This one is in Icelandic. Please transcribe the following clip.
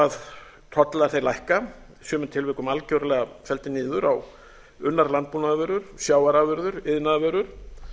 að tollar lækka í sumum tilvikum algjörlega felldir niður á unnar landbúnaðarvörur sjávarafurðir iðnaðarvörur